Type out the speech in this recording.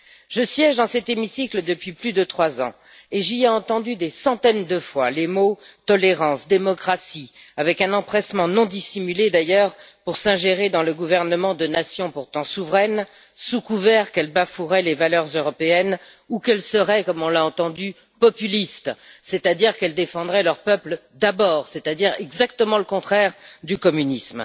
Je siège dans cet hémicycle depuis plus de trois ans et j'y ai entendu des centaines de fois les mots tolérance et démocratie avec un empressement non dissimulé, d'ailleurs, pour s'ingérer dans le gouvernement de nations pourtant souveraines, sous couvert qu'elles bafoueraient les valeurs européennes ou qu'elles seraient, comme on l'a entendu, populistes, c'est à dire qu'elles défendraient leurs peuples, d'abord, à savoir exactement le contraire du communisme.